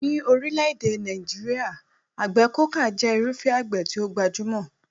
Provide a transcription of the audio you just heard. Ní orílẹ̀-èdè Nàìjíríà, àgbẹ̀ kókà jẹ́ irúfẹ́ àgbẹ̀ tí ó gbajúmọ̀.